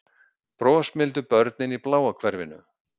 Brosmildu börnin í bláa hverfinu